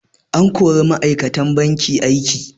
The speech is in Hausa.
An kori ma'aikatan banki a aiki.